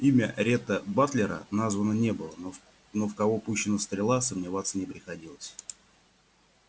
имя ретта батлера названо не было но в но в кого пущена стрела сомневаться не приходилось